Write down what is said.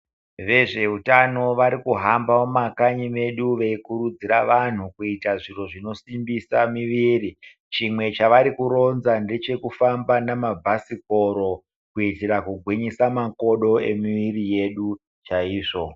Vezveutano varikuhamba mumakanyi medu veikurudzira vanhu kuita zviro zvinosimbisa miviri. Chimwe chavarikuronza ndechekufamba namabhasikoro kuitira kugwinyisa makodo emiviri yedu chaizvo.